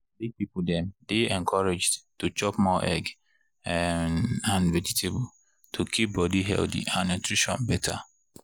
big people dem dey encouraged to chop more egg um and vegetable to keep body healthy and nutrition better.